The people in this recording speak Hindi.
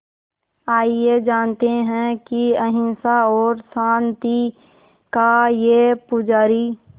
आइए जानते हैं कि अहिंसा और शांति का ये पुजारी